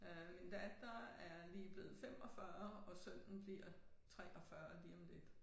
Øh min datter er lige blevet 45 og sønnen bliver 43 lige om lidt